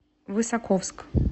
высоковск